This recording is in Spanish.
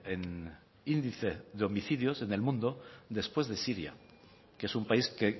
en índice de homicidios en el mundo después de siria que es un país que